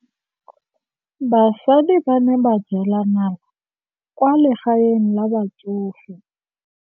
Basadi ba ne ba jela nala kwaa legaeng la batsofe.